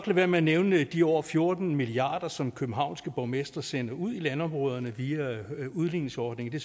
være med at nævne de over fjorten milliard kr som københavnske borgmestre sender ud i landområderne via udligningsordningen det